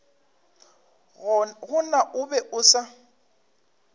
gona o be a sa